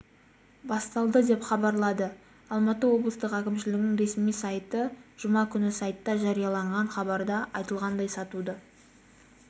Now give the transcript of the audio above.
басталды деп хабарлады алматы облыстық әкімшілігінің ресми сайты жұма күні сайтта жарияланған хабарда айтылғандай сатуды